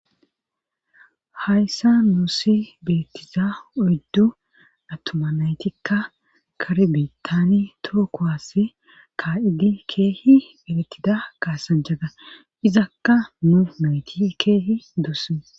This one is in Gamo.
Hayssa nuusi beettiza oyddu attoma naytikka karbetani tookohasse ka7idi keehi elettida kaasan jaga izakka nu meyti keehi doosee.